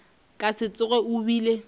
ka se tsoge o bile